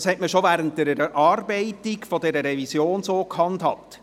Dies hat man bereits während der Erarbeitung der Revision so gehandhabt.